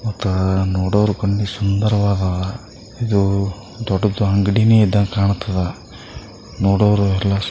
ನೋಡೋರಿಗೂ ವಂದು ಸುಂದರವಾದ ಇದು ದೊಡದು ಅಂಗಡಿನೆ ಈದಂಗೆ ಕಾಣುತ್ತದ ನೋಡೋರ್ ಎಲ್ಲಾಸು.